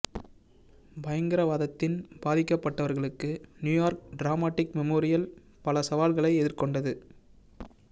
பயங்கரவாதத்தின் பாதிக்கப்பட்டவர்களுக்கு New York dramatic memorial பல சவால்களை எதிர்கொண்டது